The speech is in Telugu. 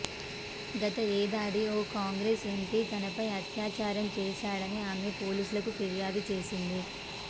గత ఏడాది ఓ కాంగ్రెస్ ఎంపి తనపై అత్యాచారం చేశాడని ఆమె పోలీసులకు ఫిర్యాదు చేసింది